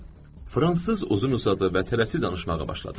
Fransız uzun-uzadı və tələsik danışmağa başladı.